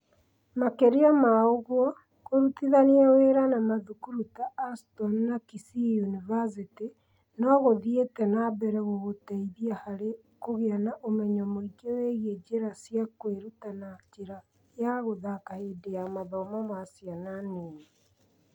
Makĩria ma ũguo, kũrutithania wĩra na mathukuru ta Aston na Kisii University no gũthiĩte na mbere gũgũteithia harĩ kũgĩa na ũmenyo mũingĩ wĩgiĩ njĩra cia kwĩruta na njĩra ya gũthaka hĩndĩ ya mathomo ma ciana nini.